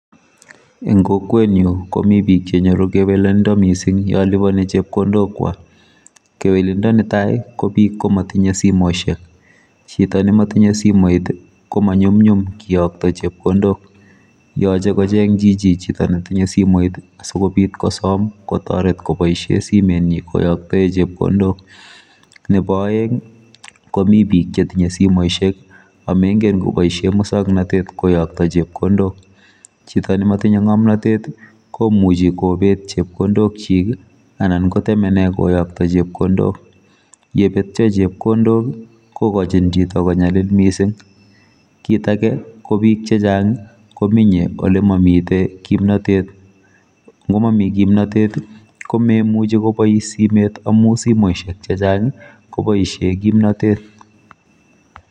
Eng kokwetnyu komi bik chenyoru kewelendo mising yoliboni chepkondokwak. Kewelendo netai kobik komatinye simosiek chito nematinye simoit komanyumnyum kiyokto chepkondok yoche kocheng chichi chito netinye simoit asikobit kosom kotoret koboisie simetnyi koyaktae chepkondok neboaeng komi bik chetinye somosiek amengen koboisie muswoknatet koyakto chepkondok chito nematinye ngomnotet komuchi kobet chepkondokchik anan kotemene koyokto chepkondok yebetyo chepkondok kokochin chito konyalil mising kit ake kobik chechang komenye ole mamite kimnotet ngomami kimnotet komemuchi kobois simet amu simosiek chechang koboisie kimnotet.